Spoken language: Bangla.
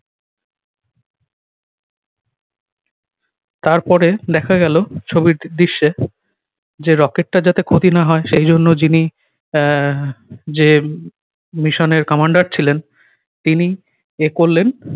তারপরে দেখা গেল ছবির দৃশ্যে যে rocket টা যাতে ক্ষতি না হয় সেই জন্য যিনি আহ যে mission এর commander ছিলেন তিনি এ করলেন।